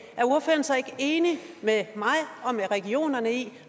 er ordføreren så ikke enig med mig og regionerne i at